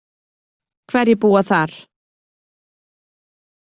Hverjir búa þar?